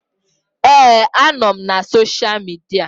Ee, anọ m na sosha midia